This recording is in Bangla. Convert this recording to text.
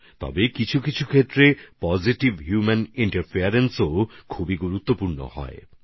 যদিও কিছু কিছু ক্ষেত্রে ইতিবাচক হিউম্যান ইন্টারফেস অনেক গুরুত্বপূর্ণ হয়ে থাকে